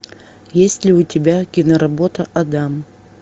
есть ли у тебя киноработа адам